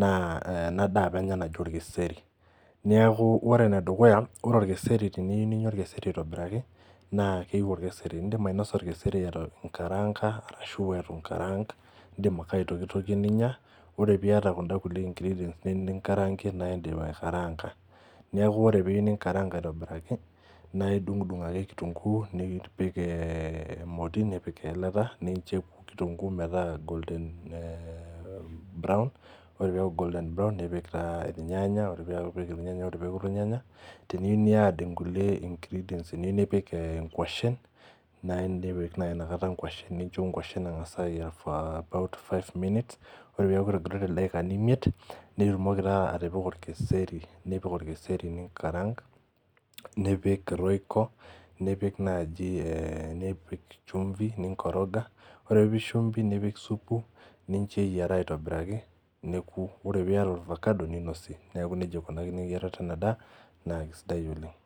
naa eh ena daa apa enya naji orkeseri niaku ore enedukuya ore orkeseri teniu ninyia orkeseri aitobiraki naa keiu orkeseri indim ainosa orkeseri etu inkaranga arashu etu inkarang indim ake aitokitokie ninyia ore piata kunda kulie ingredients ni ningarangie naindim aikaranga niaku ore piu ninkarang aitobiraki naidung'udung ake kitunguu nipik eh emoti nipik eilata ninche eku kitunguu metaa golden eh brown ore piaku golden brown nipik taa irnyanya ore piipik irnyanya ore peeku irnyanya teniu niad inkulie ingredients eniu nipik eh inkuashen nai nipik naai inakata inkuashen nincho inkuashen eng'as ayiara for about five minutes ore piaku etogiroitie ildaikani imiet nitumoki taa atipika orkeseri nipik orkeseri ningarang nipik royco nipik naaji eh nipik chumvi ninkoroga ore piipik shumbi nipik supu nincho eyiara aiitobiraki neku ore piyata orvakado ninosie niaku nejia ikunakini eyiarata ena daa naa kisidai oleng'.